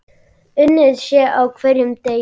Unnið sé á hverjum degi.